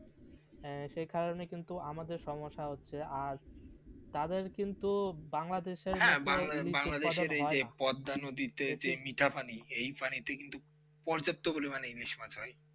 হ্যাঁ সেই কারণে কিন্তু আমাদেরকে সমস্যা হচ্ছে তাদের কিন্তু বাংলাদেশের ইলিশ উৎপাদন হয় না, হ্যাঁ এই যে বাংলাদেশের এই যে পদ্মা নদীতে মিঠা পানি এই পানিতে কিন্তু প্রচুর পর্যাপ্ত পরিমাণে ইলিশ মাছ হয়.